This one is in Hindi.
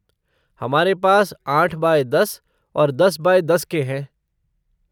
हमारे पास आठ बाई दस और दस बाई दस के हैं।